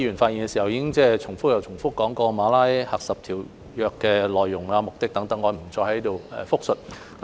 剛才多位議員發言時重複提到《馬拉喀什條約》的內容和目的等，我不再在這裏複述。